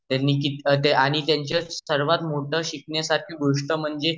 त्यांनी किती अ आणि tयांची सरावात मोठ शिकण्यर्सरखी मोठी गोष्ट म्हणजे